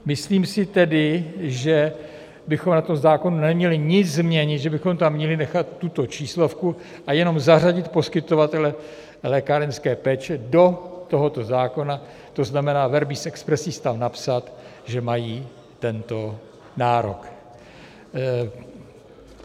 Myslím si tedy, že bychom na tom zákonu neměli nic změnit, že bychom tam měli nechat tuto číslovku a jenom zařadit poskytovatele lékárenské péče do tohoto zákona, to znamená, verbis expressis tam napsat, že mají tento nárok.